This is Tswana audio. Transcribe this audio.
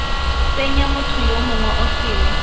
tsenya motho yo mongwe osele